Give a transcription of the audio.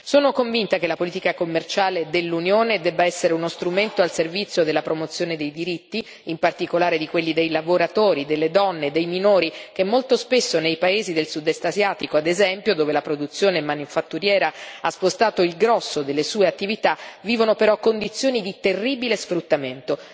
Sono convinta che la politica commerciale dell'Unione debba essere uno strumento al servizio della promozione dei diritti, in particolare di quelli dei lavoratori, delle donne e dei minori, che molto spesso nei paesi del Sud Est asiatico, ad esempio, dove la produzione manifatturiera ha spostato il grosso delle sue attività, vivono però condizioni di terribile sfruttamento.